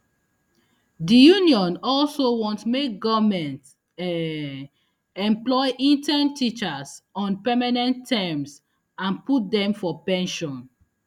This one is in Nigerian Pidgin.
di union also want make goment um employ intern teachers on permanent terms and put dem for pension